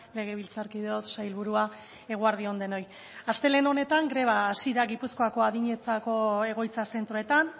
legebiltzarkideok sailburua eguerdi on denoi astelehen honetan greba hasi da gipuzkoako adinentzako egoitza zentroetan